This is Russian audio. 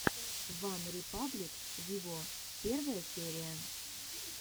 ван репаблик виво первая серия